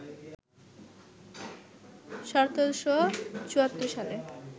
১৭৭৪ সালে